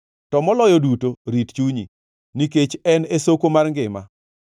To moloyo duto, rit chunyi, nikech en e soko mar ngima.